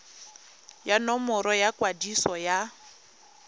ya nomoro ya kwadiso ya